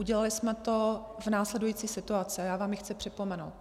Udělali jsme to za následující situace, já vám ji chci připomenout.